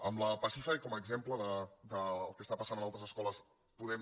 amb la pasífae com a exemple del que passa en altres escoles podem